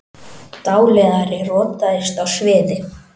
Dáleiðari rotaðist á sviði